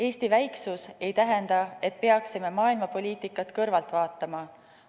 Eesti väiksus ei tähenda, et peaksime maailmapoliitikat kõrvalt vaatama.